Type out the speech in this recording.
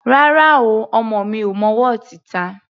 Rárá o, ọmọ mi ò mọ wọ́ọ̀tì ta.